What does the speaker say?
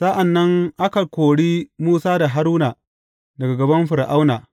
Sa’an nan aka kori Musa da Haruna daga gaban Fir’auna.